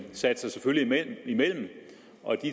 sig selvfølgelig imellem og